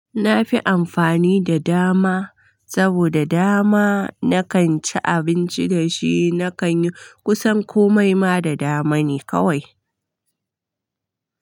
Na fi amfani da dama, saboda dama na kan ci abinci da shi, na kan yi kusan komai ma da dama ne kawai.